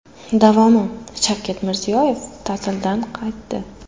Davomi: Shavkat Mirziyoyev ta’tildan qaytdi.